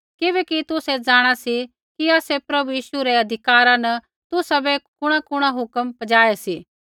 किबैकि तुसै जाँणा सी कि आसै प्रभु यीशु रै अधिकारा न तुसाबै कुणाकुणा हुक्म पजाऊ सा